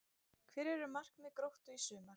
Hver eru markmið Gróttu í sumar?